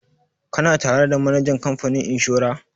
Kana tare da manajan kamfanin inshora?